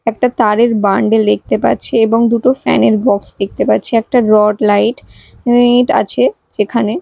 একটা তারের বান্ডিল দেখতে পাচ্ছি এবং দুটো ফ্যান -এর বক্স দেখতে পাচ্ছি একটা রড লাইট ইট আছে যেখানে--